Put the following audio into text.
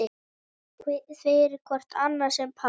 fyrir hvort annað sem par